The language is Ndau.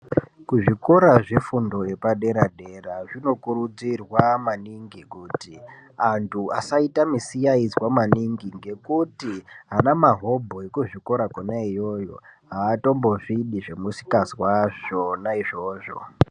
Kuzvikora zvefundo yepadera dera zvinokurudzirwa maningi kuti antu asaita misayaidzwa maningi ngekuti ana mahobho ekuzvikora kona iyoyo aatombozvidi zvemusikazwa zvo na izvozvo